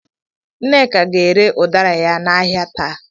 Nneka ga-ere ụdara ya n'ahịa taa.